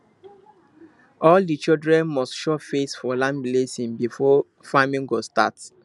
all the children must show face for land blessing before farming go start